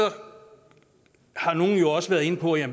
har nogle også været inde på at